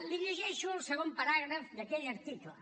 li llegeixo el segon paràgraf d’aquell article